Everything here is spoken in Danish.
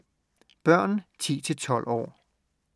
Børn 10-12 år